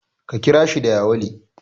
Ka kira shi da yawale.